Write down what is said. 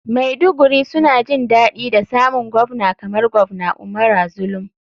Maiduguri suna jin daɗi da samun govna kamar govna umara zulum.